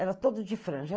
Era todo de franja.